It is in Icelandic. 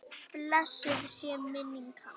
Blessuð sé minning hans.